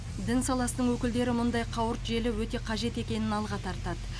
дін саласының өкілдері мұндай қауырт желі өте қажет екенін алға тартады